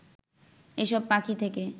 এসব পাখি থেকে